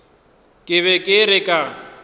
ke be ke re ka